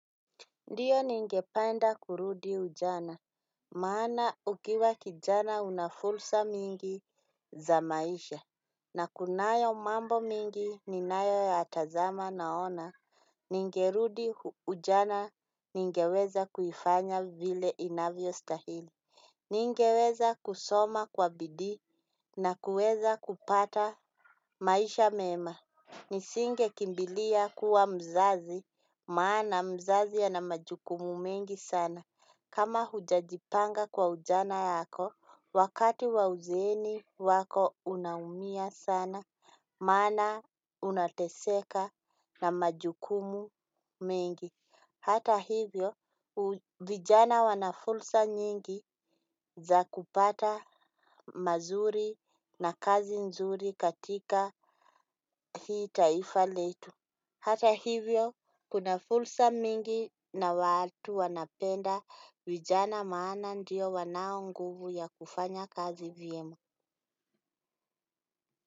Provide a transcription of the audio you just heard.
Ndiyo ningependa kurudi ujana, maana ukiwa kijana una fursa mingi za maisha. Na kunayo mambo migi ninayo ya tazama naona ningerudi ujana ningeweza kuifanya vile inavyo stahili. Ningeweza kusoma kwa bidii na kuweza kupata maisha mema. Nisinge kimbilia kuwa mzazi maana mzazi ana majukumu mengi sana. Kama hujajipanga kwa ujana yako wakati wa uzeni wako unaumia sana maana unateseka na majukumu mengi. Hata hivyo vijana wana fursa nyingi za kupata mazuri na kazi nzuri katika hii taifa letu. Hata hivyo, kuna fursa mingi na watu wanapenda vijana maana ndio wanao nguvu ya kufanya kazi vyema.